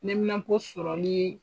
Neminanpo sɔrɔli ye